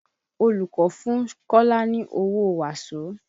Olùkọ́ fún Kọ́lá ni owó waso